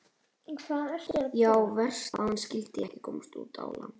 Já, verst að hann skyldi ekki komast út á land.